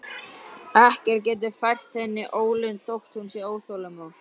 Ekkert getur fært henni ólund þótt hún sé óþolinmóð.